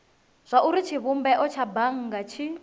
zwauri tshivhumbeo tsha bannga tshi